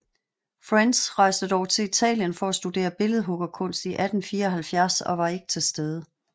French rejste dog til Italien for at studere billedhuggerkunst i 1874 og var ikke til stede